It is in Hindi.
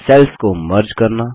सेल्स को मर्ज करना